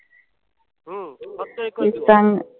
हम्म फक्त एकाच दिवस